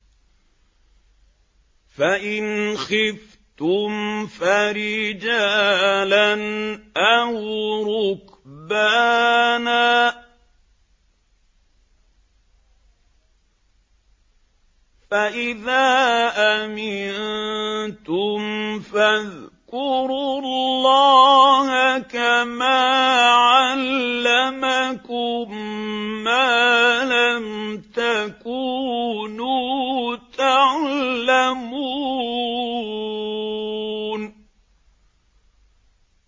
فَإِنْ خِفْتُمْ فَرِجَالًا أَوْ رُكْبَانًا ۖ فَإِذَا أَمِنتُمْ فَاذْكُرُوا اللَّهَ كَمَا عَلَّمَكُم مَّا لَمْ تَكُونُوا تَعْلَمُونَ